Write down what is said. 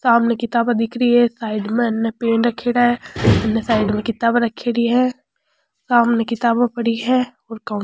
सामने किताबा दिख री है साइड में हे न पेन रखेड़ा है इने साइड में किताबा रखेड़ी है सामने किताबे पड़ी है और कौन--